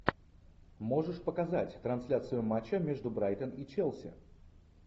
можешь показать трансляцию матча между брайтон и челси